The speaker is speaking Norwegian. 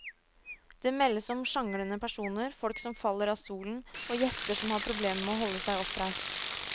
Det meldes om sjanglende personer, folk som faller av stolen og gjester som har problemer med å holde seg oppreist.